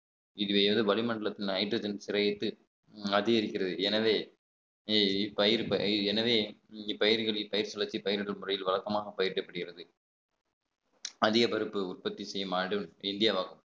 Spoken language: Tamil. இதுவே எது வளிமண்டலத்தில் hydrogen சிறையிட்டு அதிகரிக்கிறது எனவே இப்பயிர் எனவே இங்கு பயிர்களில் பயிர் வளர்த்தி பயிரிடும் முறையில் வழக்கமாக பயிரிடப்படுகிறது அதிக பருப்பு உற்பத்தி செய்யும் நாடு இந்திய ஆகும்